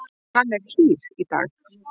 Hann er dýr í dag.